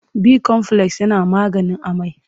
Bikomfules yana maganin amai.